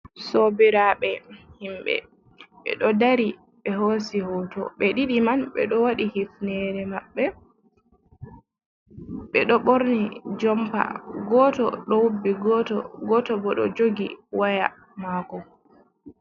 Sobiraɓe, himbe be do dari be hoosi hoto be ɗiɗi man be do waɗi hifnere maɓɓe be do borni jompa goto do wubbi goto bo do jogi waya maako.